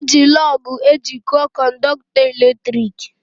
Eji lọọgụ ejiko kọndọktọ eletrik